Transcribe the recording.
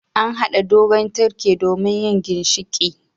An hada dogon tirke domin yin ginshiƙi.